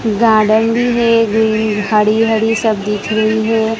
Garden भी है ग्री हरी हरी सब दिख रही है।